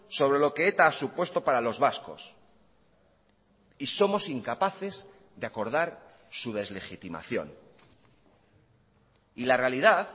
sobre lo que eta ha supuesto para los vascos y somos incapaces de acordar su deslegitimación y la realidad